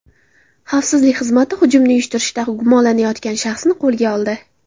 Xavfsizlik xizmati hujumni uyushtirishda gumonlanayotgan shaxsni qo‘lga oldi.